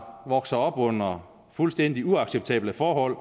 vokser op under fuldstændig uacceptable forhold